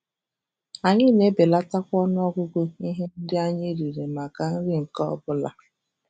Anyị na-ebelatakwa ọnụ ọgụgụ ihe ndị anyị riri maka nri nke ọ bụla.